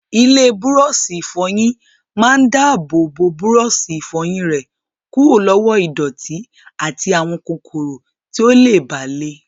Ilé búrọ́ọ̀ṣì ìfọyín máa dáàbò bo búrọ́ọ̀ṣì ìfọyín rẹ kúrò lọ́wọ́ ìdọ̀tí àti àwọn kòkòrò tí ó lè bà le.